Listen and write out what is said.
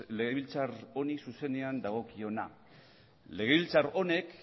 legebiltzar honi zuzenean dagokiona legebiltzar honek